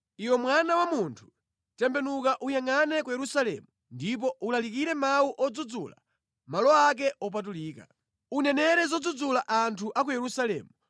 “Iwe mwana wa munthu, tembenuka uyangʼane ku Yerusalemu ndipo ulalike mawu odzudzula malo ake opatulika. Unenere zodzudzula anthu a ku Yerusalemu.